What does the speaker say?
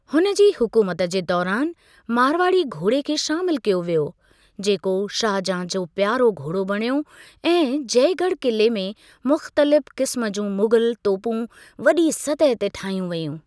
हुन जी हुकूमत जे दौरानि, मारवाड़ी घोड़े खे शामिलु कयो वियो, जेको शाहजहाँ जो प्यारो घोड़ो बणियो, ऐं जयगढ़ किले में मुख़्तलिफ़ क़िस्म जूं मुग़ल तोपूं वॾी सतह ते ठाहियूं वेयूं।